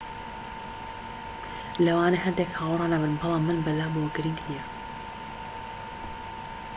‎ ‎لەوانەیە هەندێک هاوڕا نەبن بەڵام من بەلامەوە گرنگ نییە